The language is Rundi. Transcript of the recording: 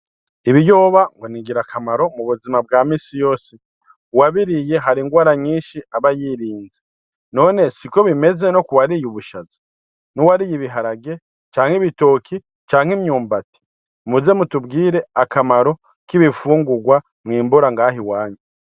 Ibiyoba ngo ningira kamaro mubuzima bwamisi yose. Uwabiriye haringwara nyinshi aba yirinze, none siko bimeze nokuwariye ubushaza nuwariye ibiharage, canke ibitoki, canke imyumbati? muze mutubwire akamaro k'ibifungugwa mwimbura ngaho iwanyu.